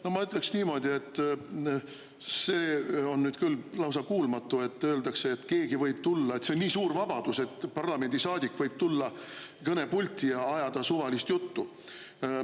No ma ütleks niimoodi, et see on nüüd küll lausa kuulmatu, kui öeldakse, et see on nii suur vabadus, kui keegi parlamendisaadik võib tulla kõnepulti ja ajada suvalist juttu.